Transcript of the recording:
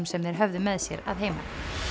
sem þeir höfðu með sér að heiman